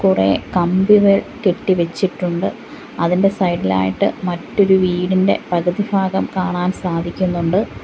കുറേ കമ്പികൾ കെട്ടി വെച്ചിട്ടുണ്ട് അതിന്റെ സൈഡിലായിട്ട് മറ്റൊരു വീടിന്റെ പകുതിഭാഗം കാണാൻ സാധിക്കുന്നുണ്ട്.